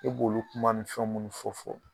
E b'olu kuma ni fɛn minnu fɔ fɔ.